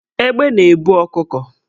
Egbe na-ebu ọkụkọ